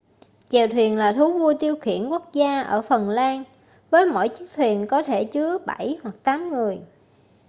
chèo thuyền là thú vui tiêu khiển quốc gia ở phần lan với mỗi chiếc thuyền có thể chứa bảy hoặc tám người